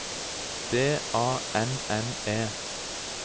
D A N N E